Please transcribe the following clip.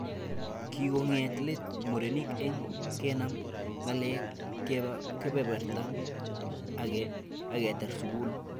Kikong'et let murenik eng kenam ng'alek, keba kebeberta age aketar sukul